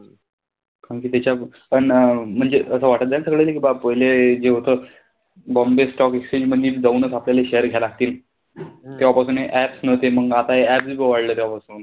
कारण कि त्याच्यात पण म्हणजे असं वाटत जाये ना सगळं कि नाई बाप पहिले जे होत बॉम्बे stock exchange मधी जाऊनचं आपल्याले share घ्यावे लागतील. तेंव्हापासून apps नव्हते. मंग आता हे app बी वाढले तेव्हापासुन.